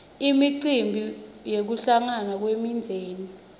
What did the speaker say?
imicimbi yekuhlangana kwemindzeni